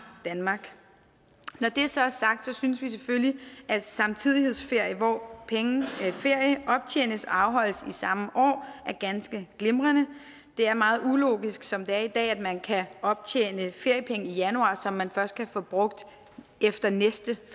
danmark når det så er sagt synes vi selvfølgelig at samtidighedsferie hvor ferie optjenes og afholdes i samme år er ganske glimrende det er meget ulogisk som det er i dag at man kan optjene feriepenge i januar som man først kan bruge efter den næste